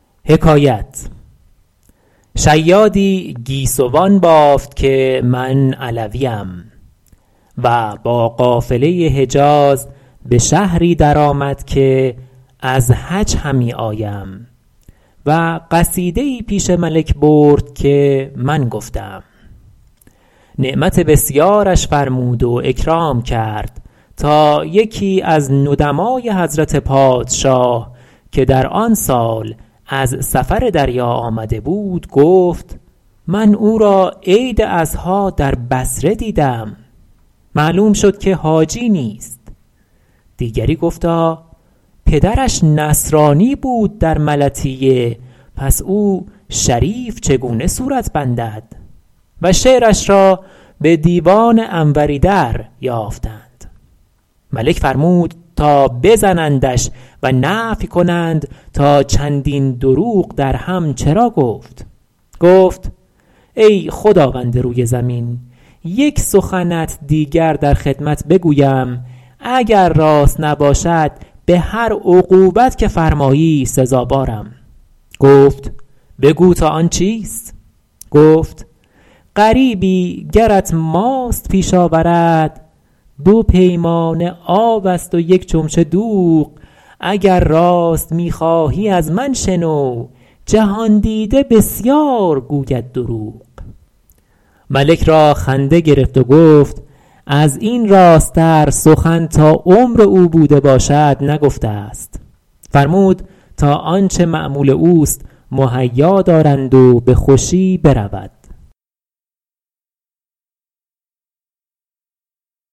شیادی گیسوان بافت که من علویم و با قافله حجاز به شهری در آمد که از حج همی آیم و قصیده ای پیش ملک برد که من گفته ام نعمت بسیارش فرمود و اکرام کرد تا یکی از ندمای حضرت پادشاه که در آن سال از سفر دریا آمده بود گفت من او را عید اضحیٰ در بصره دیدم معلوم شد که حاجی نیست دیگری گفتا پدرش نصرانی بود در ملطیه پس او شریف چگونه صورت بندد و شعرش را به دیوان انوری دریافتند ملک فرمود تا بزنندش و نفی کنند تا چندین دروغ درهم چرا گفت گفت ای خداوند روی زمین یک سخنت دیگر در خدمت بگویم اگر راست نباشد به هر عقوبت که فرمایی سزاوارم گفت بگو تا آن چیست گفت غریبی گرت ماست پیش آورد دو پیمانه آب است و یک چمچه دوغ اگر راست می خواهی از من شنو جهان دیده بسیار گوید دروغ ملک را خنده گرفت و گفت از این راست تر سخن تا عمر او بوده باشد نگفته است فرمود تا آنچه مأمول اوست مهیا دارند و به خوشی برود